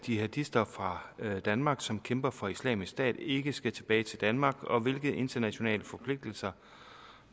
jihadister fra danmark som kæmper for islamisk stat ikke skal tilbage til danmark og hvilke internationale forpligtelser